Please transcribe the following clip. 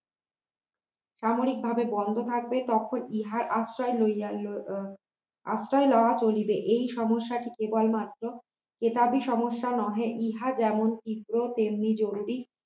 সাময়িকভাবে বন্ধ থাকবে তখন ইহার আশ্রয় লই আশ্রয় লওয়া হইবে এই সমস্যাটি কেবলমাত্র একারই সমস্যা নহে ইহা যেমন শীঘ্র তেমনি জরুরী